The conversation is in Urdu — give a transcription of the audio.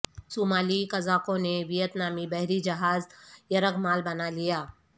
صومالی قزاقوں نے ویت نامی بحری جہاز یرغمال بنا لیا